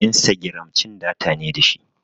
Instagiram cin data ne dashi